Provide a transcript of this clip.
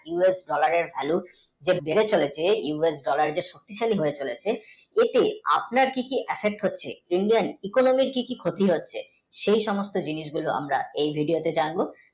USdollar এর value যে বেড়ে চলেছে US dollar যে stable হয়ে চলেছে এই দিয়ে আপনার কী কী affect হচ্ছে Indian, economy কী কী ক্ষতি হচ্ছে সেই সমস্ত জিনিস গুলো আমার এই video তে জানবো ।